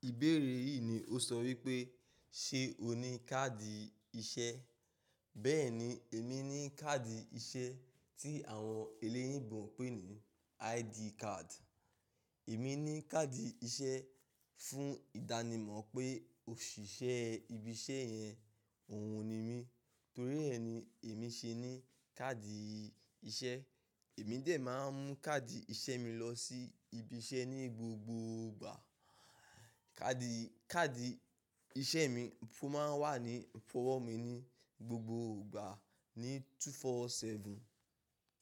Ìbéèrè yìí ni ó sọ wípé ṣe ó ní káàdì iṣẹ́? Bẹ́ẹ̀ni, èmi ní káàdì iṣẹ́ tí àwọn eléyìí ń bọ̀ ń pè ní ID card. Èmi ní káàdì iṣẹ́ fún ìdánimọ̀ pé òṣìṣẹ́ ibi iṣẹ́ yẹn òun ni mí. Nítorí ẹ́ ni èmi ṣe ní káàdì iṣẹ́. Èmi dè máa ń mú káàdì iṣẹ́ mi lọ sí ibi iṣẹ́ ní gbogbo ìgbà. Káàdì, káàdì iṣẹ́ mi máa ń wà ní owọ́ mi ní gbogbo ìgbà ní 247.